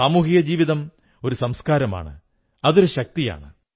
സാമൂഹിക ജീവിതം ഒരു സംസ്കാരമാണ് അതൊരു ശക്തിയാണ്